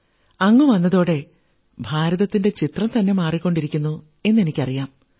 അങ്ങ് വന്നതോടെ ഭാരതത്തിന്റെ ചിത്രംതന്നെ മാറിക്കൊണ്ടിരിക്കുന്നു എന്നെനിക്കറിയാം